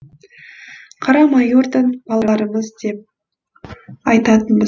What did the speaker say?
қара майордың балаларымыз деп айтатынбыз